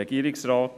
der SiK.